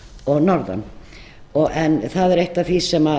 og norðan en það er eitt af því sem